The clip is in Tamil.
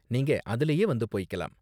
நீங்க அதுலயே வந்து போய்க்கலாம்.